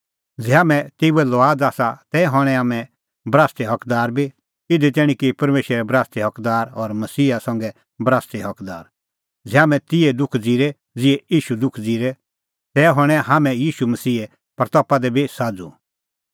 ज़ै हाम्हैं तेऊए लुआद आसा तै हणैं हाम्हैं बरासते हकदार बी इधी तैणीं कि परमेशरे बरासते हकदार और मसीहे संघै बरासते हकदार ज़ै हाम्हैं तिहै दुख ज़िरे ज़िहै ईशू दुख ज़िरै तै हणैं हाम्हैं ईशू मसीहे महिमां दी बी साझ़ू